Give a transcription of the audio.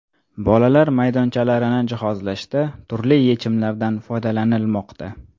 Bolalar maydonchalarini jihozlashda turli yechimlardan foydalanilmoqda.